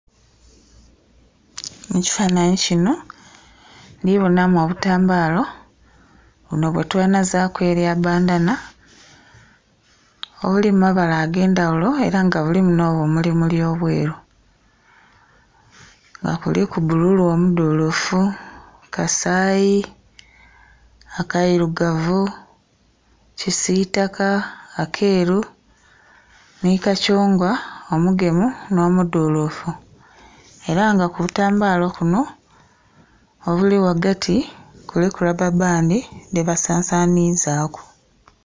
Mu kifanhanhi kino ndhibonamu obutambalo, bunho bwetwenazaku erya bandana, obuli mu babala ag'endhaghulo era nga bulimu no bumulimuli obweru. Nga kuliku bululu omudulufu, kasaayi, akairugavu, kisitaka, akeeru, ni kakyungwa omugemu n'omudhulufu. Era nga ku butambalo kuno, obuli ghagati, kuliku rababandi dhebasasanizaku.